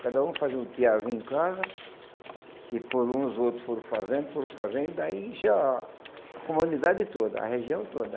Cada um fazia um tearzinho em casa, que por uns outros foram fazendo, foram fazendo, e daí encheu a a comunidade toda, a região toda.